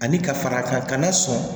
Ani ka fara kan na sɔn